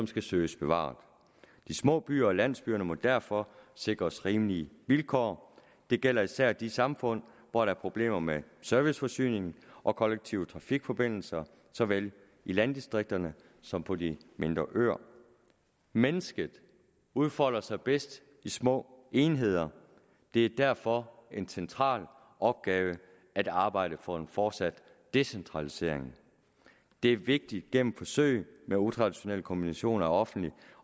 skal søges bevaret de små byer og landsbyerne må derfor sikres rimelige vilkår det gælder især i de samfund hvor der er problemer med serviceforsyningen og kollektive trafikforbindelser såvel i landdistrikterne som på de mindre øer mennesket udfolder sig bedst i små enheder det er derfor en central opgave at arbejde for en fortsat decentralisering det er vigtigt gennem forsøg med utraditionelle kombinationer af offentlig